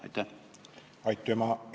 Aitüma!